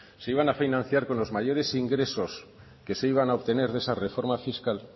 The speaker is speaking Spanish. se iban a financiar con los mayores ingresos que se iban a obtener de esa reforma fiscal